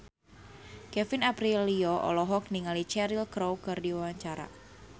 Kevin Aprilio olohok ningali Cheryl Crow keur diwawancara